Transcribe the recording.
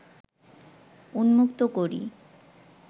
উন্মুক্ত করি